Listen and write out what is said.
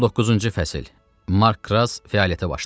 19-cu fəsil Mark Kras fəaliyyətə başlayır.